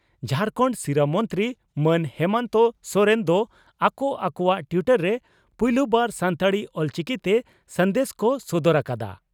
ᱡᱷᱟᱨᱠᱷᱟᱱᱰ ᱥᱤᱨᱟᱹ ᱢᱚᱱᱛᱨᱤ ᱢᱟᱱ ᱦᱮᱢᱚᱱᱛᱚ ᱥᱚᱨᱮᱱ ᱫᱚ ᱟᱠᱚ ᱟᱠᱚᱣᱟᱜ ᱴᱤᱭᱴᱚᱨ ᱨᱮ ᱯᱩᱭᱞᱩ ᱵᱟᱨ ᱥᱟᱱᱛᱟᱲᱤ (ᱚᱞᱪᱤᱠᱤ) ᱛᱮ ᱥᱟᱸᱫᱮᱥ ᱠᱚ ᱥᱚᱫᱚᱨ ᱟᱠᱟᱫᱼᱟ ᱾